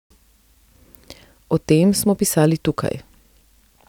O tem smo pisali tukaj.